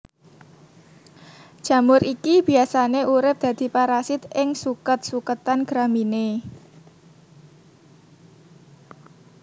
Jamur iki biasane urip dadi parasit ing suket suketan Gramineae